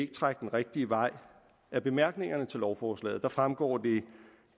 trække den rigtige vej af bemærkningerne til lovforslaget fremgår det